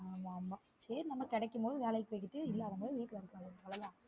ஆமா ஆமா சேரி நம்ம கெடைக்கும் போது வேலைக்கு போய்ட்டு இல்லாத போது வீட்ல இருக்க வேண்டியது தான் அவ்ளோ தான்